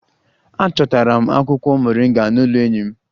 Achọtara m akwụkwọ moringa n'ụlọ enyi m